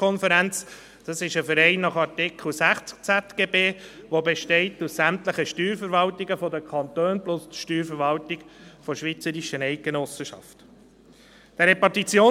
Die SSK ist ein Verein nach Artikel 60 des Schweizerischen Zivilgesetzbuches (ZGB), der aus sämtlichen Steuerverwaltungen der Kantone und der Steuerverwaltung der schweizerischen Eidgenossenschaft besteht.